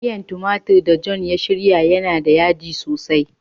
Miyan tumatur da "John" ya shirya yana da yaji sosai.